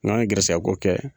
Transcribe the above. N'an ye garsɛgɛyako kɛ